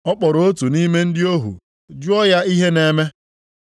Ọ kpọrọ otu nʼime ndị ohu jụọ ya ihe na-eme.